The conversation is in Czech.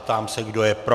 Ptám se, kdo je pro.